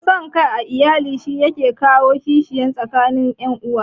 San kai a iyali shi yake kawo kishin tsakanin ƴan uwa